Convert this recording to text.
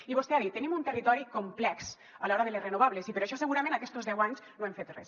i vostè ha dit tenim un territori complex a l’hora de les renovables i per això segurament aquests deu anys no hem fet res